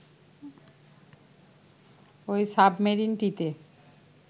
ওই সাবমেরিনটিতে